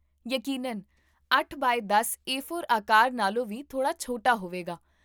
ਯਕੀਨਨ, ਅੱਠ ਬਾਏ ਦਸ ਏ ਫੋਰ ਆਕਾਰ ਨਾਲੋਂ ਵੀ ਥੋੜ੍ਹਾ ਛੋਟਾ ਹੋਵੇਗਾ